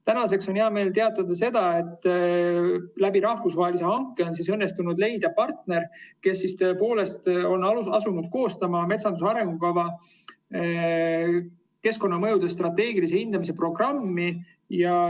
Täna on hea meel teatada, et rahvusvahelisel hankel on õnnestunud leida partner, kes on asunud koostama metsanduse arengukava keskkonnamõjude strateegilise hindamise programmi.